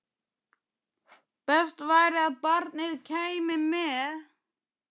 Best væri að barnið kæmi með.